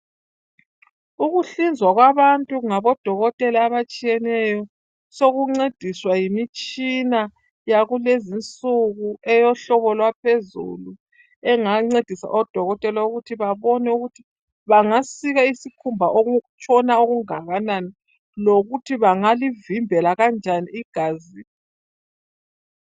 Ukuhlizwa kwabantu ngabodokotela abatshiyeneyo sokumgcediswa yimitshina yakulezi insuku eyohlobo lwaphezulu engangcedisa odokotela ukuthi babone ukuthi bangasika isikhumba okutshona okungakanani lokuthi bangalivimbela kanjani igazi